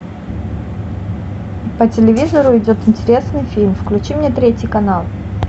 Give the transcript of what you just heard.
по телевизору идет интересный фильм включи мне третий канал